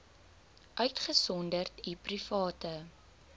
uitgesonderd u private